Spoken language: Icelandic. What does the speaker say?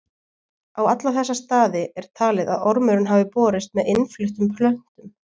Á alla þessa staði er talið að ormurinn hafi borist með innfluttum plöntum.